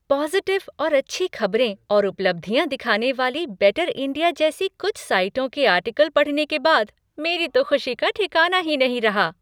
Positive और अच्छी खबरें और उपलब्धियाँ दिखाने वाली "बेटर इंडिया" जैसी कुछ साइटों के आर्टिकल पढ़ने के बाद, मेरी तो खुशी का ठिकाना ही नहीं रहा।